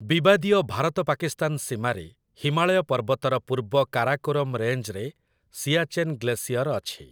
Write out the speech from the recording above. ବିବାଦୀୟ ଭାରତ-ପାକିସ୍ତାନ ସୀମାରେ ହିମାଳୟ ପର୍ବତର ପୂର୍ବ କାରାକୋରମ୍ ରେଞ୍ଜରେ ସିଆଚେନ୍ ଗ୍ଲେସିଅର୍ ଅଛି ।